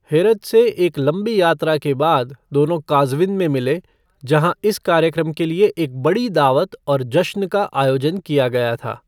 हेरत से एक लंबी यात्रा के बाद दोनों काज़विन में मिले, जहाँ इस कार्यक्रम के लिए एक बड़ी दावत और जश्न का आयोजन किया गया था।